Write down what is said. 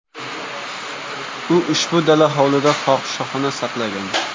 U ushbu dala hovlida fohishaxona saqlagan.